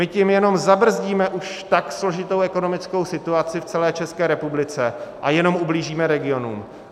My tím jenom zabrzdíme už tak složitou ekonomickou situaci v celé České republice a jenom ublížíme regionům.